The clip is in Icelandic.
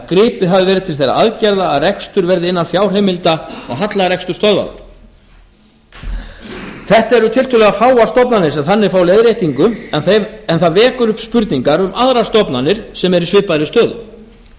gripið hafi verið til þeirra aðgerða að rekstur verði innan fjárheimilda og hallarekstur stöðvaður þetta eru tiltölulega fáar stofnanir sem þannig fá leiðréttingu en það vekur upp spurningar um aðrar stofnanir sem eru í svipaðri stöðu